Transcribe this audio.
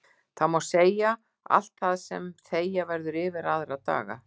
Þá má segja allt það sem þegja verður yfir aðra daga.